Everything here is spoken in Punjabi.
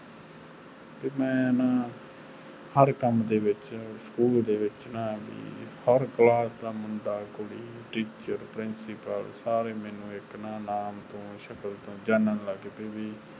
ਤੇ ਮੈਂ ਨਾ ਹਰ ਕੰਮ ਦੇ ਵਿਚ ਸਕੂਲ ਦੇ ਵਿਚ ਨਾ ਵੀ ਹਰ ਕਲਾਸ ਦਾ ਮੁੰਡਾ ਕੁੜੀ teacher principal ਸਾਰੇ ਨਾ ਮੇਨੂ ਸਾਰੇ ਇਕ ਨਾਮੁ ਤੋਂ ਸ਼ਕਲ ਤੋਂ ਜਾਨਣ ਲੱਗ ਆਪੇ ਵੀ